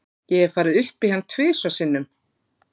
Ég hef farið upp í hann tvisvar sinnum.